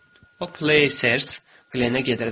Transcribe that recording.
O, Places Glennə gedirdi.